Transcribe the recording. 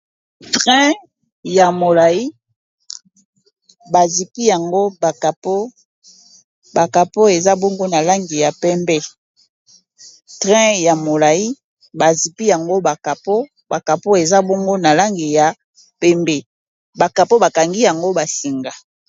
Train ya molai bazipi yango bakapo bakapo eza bongu na langi ya pembe trein ya molai bazipi yango bakapo bakapo eza bongo na langi ya pembe bakapo bakangi yango basinga